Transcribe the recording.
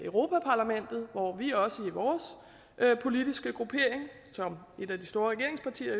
europa parlamentet hvor vi også i vores politiske gruppering som et af de store regeringspartier